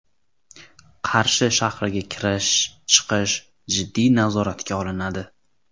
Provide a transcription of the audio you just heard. Qarshi shahriga kirish-chiqish jiddiy nazoratga olinadi.